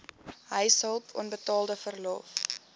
huishulp onbetaalde verlof